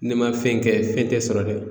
N'i ma fɛn kɛ fɛn tɛ sɔrɔ dɛ